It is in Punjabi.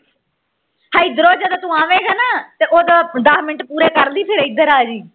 ਇਧਰੋਂ ਜਦੋਂ ਤੂੰ ਆਵੇਗਾ ਨਾ ਤੇ ਉਦੋਂ ਦਾਸ ਮਿੰਟ ਪੂਰੇ ਕਰ ਲਈ ਫੇਰ ਇਧਰ ਆ ਜੀਂ